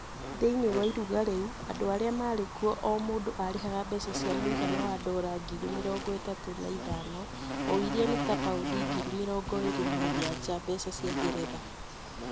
Thĩiniĩ wa iruga rĩu, andũ arĩa marĩ kũo o mũndũ arĩhaga mbeca mũigana wa ndora ngiri mĩrongo ĩtatũ na ithano o iria nĩta paũndi ngiri mĩrongo ĩrĩ na mũgwanja mbeca cia Ngeretha.